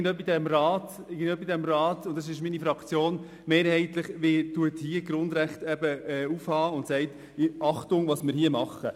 Irgendjemand in diesem Rat, und das ist meine Fraktion, muss die Grundrechte hochhalten und sagen: «Achtung, passt auf, was wir hier tun!